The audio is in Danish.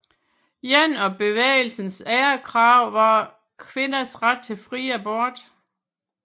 Et af bevægelsens andre krav var kvinders ret til fri abort